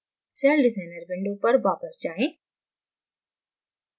CellDesigner window पर वापस जाएँ